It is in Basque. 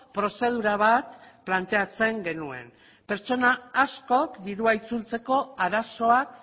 prozedura bat planteatzen genuen pertsona askok dirua itzultzeko arazoak